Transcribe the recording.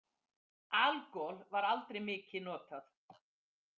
Algol var aldrei mikið notað.